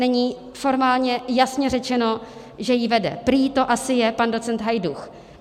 Není formálně jasně řečeno, že ji vede - prý to asi je pan docent Hajdúch.